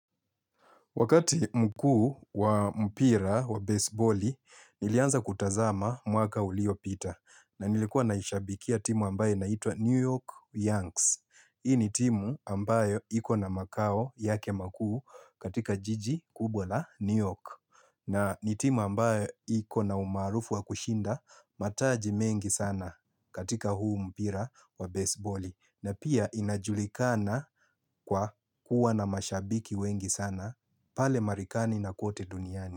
Wakati mkuu wa mpira wa basebali, nilianza kutazama mwaka ulio pita. Na nilikuwa naishabikia timu ambayo naitwa New York Yanks. Hii ni timu ambayo ikona makao yake makuu katika jiji kubwa la New York. Na ni timu ambayo ikona umaarufu wa kushinda mataji mengi sana katika huu mpira wa basebali. Na pia inajulikana kwa kuwa na mashabiki wengi sana pale marikani na kote duniani.